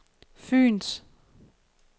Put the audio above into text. Fyens